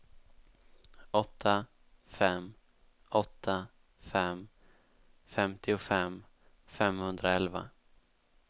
åtta fem åtta fem femtiofem femhundraelva